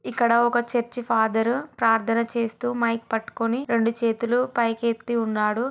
ఇక్కడ ఒక church father ప్రార్ధన చేస్తూ మైక్ పట్టుకొని రెండు చేతులు పైకి ఎత్తి ఉన్నాడు.